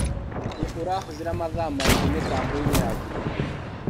Nĩ ũrahũthĩra mathaa maigi mĩtamboinĩ ya ũkinyanĩria.